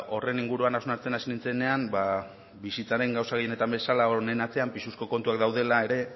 horren inguruan hausnartzen hasi nintzenean bizitzaren gauza gehienetan bezala honen atzean pisuzko kontuak daudela ere